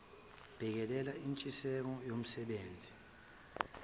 bhekelela intshiseko yomsebenzisi